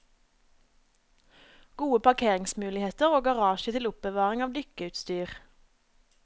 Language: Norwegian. Gode parkeringsmuligheter og garasje til oppbevaring av dykkeutstyr.